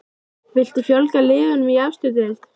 Viltu fjölga liðum í efstu deild?